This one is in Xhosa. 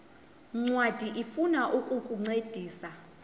ncwadi ifuna ukukuncedisa